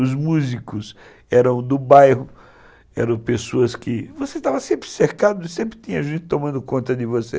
Os músicos eram do bairro, eram pessoas que... Você estava sempre cercado e sempre tinha gente tomando conta de você.